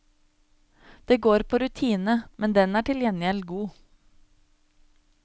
Det går på rutine, men den er til gjengjeld god.